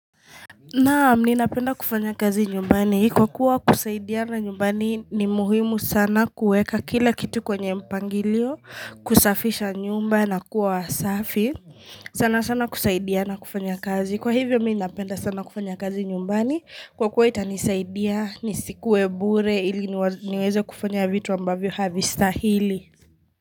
Naam, ninapenda kufanya kazi nyumbani, kwa kuwa kusaidiana nyumbani ni muhimu sana kuweka kila kitu kwenye mpangilio, kusafisha nyumba na kuwa wasafi sana sana kusaidiana kufanya kazi, kwa hivyo mimi napenda sana kufanya kazi nyumbani, kwa kuwa itanisaidia, nisikuwe bure ili niweze kufanya vitu ambavyo havistahili.